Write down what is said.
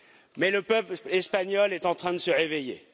Mais le peuple se espagnol est en train de se réveiller.